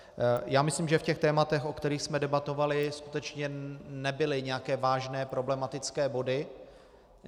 Já myslím, že v těch tématech, o kterých jsme debatovali, skutečně nebyly nějaké vážné problematické body.